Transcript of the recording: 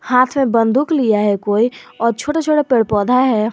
हाथ में बंदूक लिया है कोई और छोटा छोटा पेड़ पौधा है।